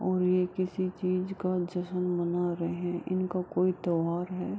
और ये किसी चीज़ का जश्न मना रहे हैं | इनका कोई त्यौहार है ।